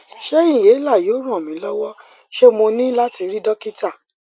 ṣé inhaler yóò ran mi lọwọ ṣé mo ní láti rí dókítà